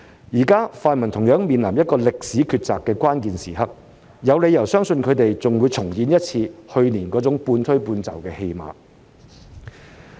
現在泛民同樣面臨歷史抉擇的關鍵時刻，有理由相信他們還會重演去年那種半推半就的戲碼。